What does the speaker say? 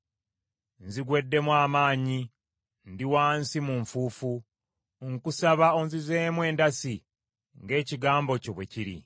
Nzigweddemu amaanyi, ndi wansi mu nfuufu; nkusaba onzizeemu endasi ng’ekigambo kyo bwe kiri.